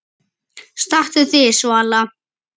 Stattu þig, Svala